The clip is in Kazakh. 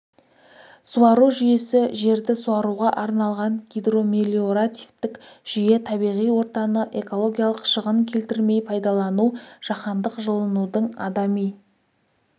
суару жүйесі жерді суаруға арналған гидромелиоративтік жүйе табиғи ортаны экологиялық шығын келтірмей пайдалану жаһандық жылынудың адами